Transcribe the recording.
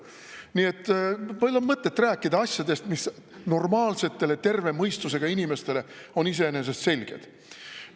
Nii et pole mõtet rääkida asjadest, mis normaalsetele, terve mõistusega inimestele on iseenesest selged.